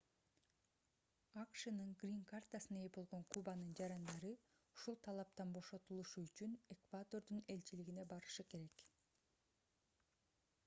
акшнын грин-картасына ээ болгон кубанын жарандары ушул талаптан бошотулушу үчүн эквадордун элчилигине барышы керек